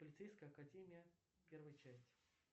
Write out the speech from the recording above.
полицейская академия первая часть